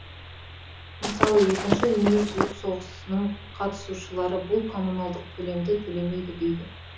мысалы екінші дүниежүзілік соғысының қатысушылары бұл коммуналдық төлемді төлемейді дейді